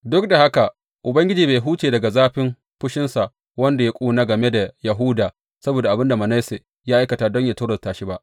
Duk da haka, Ubangiji bai huce daga zafin fushinsa wanda ya ƙuna game da Yahuda saboda abin da Manasse ya aikata don yă tozarta shi ba.